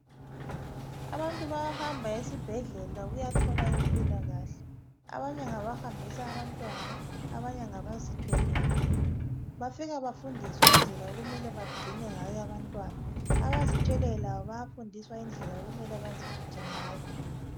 Abantu bayahamba esibhedlela ukuyathola impilakahle. Abanye ngabahambisa abantwana, abanye ngabazithweleyo. Bafika bafundiswe indlela okumele bagcine ngayo abantwana. Abazithweleyo labo bayafundiswa indlela okumele baziphathe ngayo.